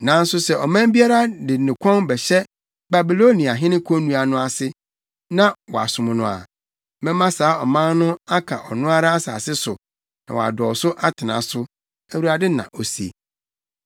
Nanso sɛ ɔman biara de ne kɔn bɛhyɛ Babiloniahene konnua no ase na wasom no a, mɛma saa ɔman no aka ɔno ara asase so na wadɔw so atena so, Awurade, na ose.’ ”